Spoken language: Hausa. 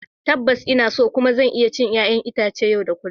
Tabbas, ina son kuma zan iya cin 'ƴa'ƴan itace yau da kullun.